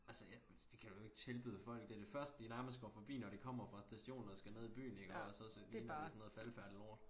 Altså jeg det kan du jo ikke tilbyde folk det det første de nærmest går forbi når de kommer fra stationen og skal ned i byen iggås og så ligner det sådan noget faldefærdigt lort